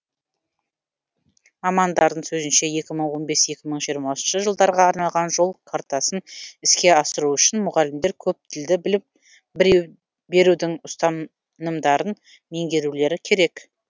мамандардың сөзінше екі мың он бес екі мың жиырмасыншы жылдарға арналған жол картасын іске асыру үшін мұғалімдер көптілді берудің ұстанымдарын меңгерулері керек